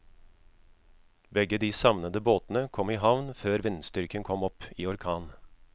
Begge de savnede båtene kom i havn før vindstyrken kom opp i orkan.